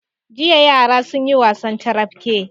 Jiya yara sun yi wasan carafke.